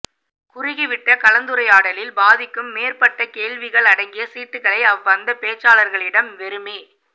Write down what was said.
குறுகிவிட்ட கலந்துரையாடலில் பாதிக்கும் மேற்பட்ட கேள்விகள் அடங்கிய சீட்டுகளை அவ்வந்த பேச்சாளர்களிடம் வெறுமே